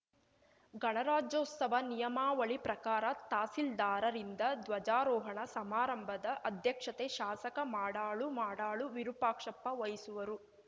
ಗಣರಾಜ್ಯೋತ್ಸವ ನಿಯಾಮವಳಿ ಪ್ರಕಾರ ತಹಶೀಲ್ದಾರ ರಿಂದ ಧ್ವಜಾರೋಹಣ ಸಮಾರಂಭದ ಅಧ್ಯಕ್ಷತೆ ಶಾಸಕ ಮಾಡಾಳು ಮಾಡಾಳು ವಿರೂಪಾಕ್ಷಪ್ಪ ವಹಿಸುವರು